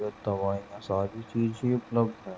इधर दवाईयां और सारी चीज़ें उपलब्ध हैं --